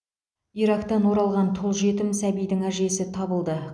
ирактан оралған тұл жетім сәбидің әжесі табылды